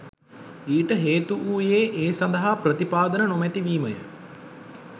ඊට හේතු වූයේද ඒ සඳහා ප්‍රතිපාදන නොමැති වීමය